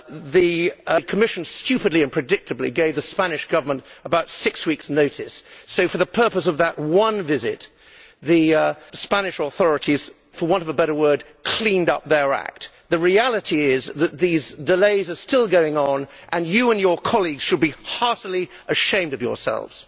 The Commission stupidly and predictably gave the Spanish Government about six weeks' notice, so for the purpose of that one visit the Spanish authorities, for want of a better word, cleaned up their act'. The reality is that these delays are still going on and you and your colleague should be heartily ashamed of yourselves.